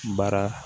Baara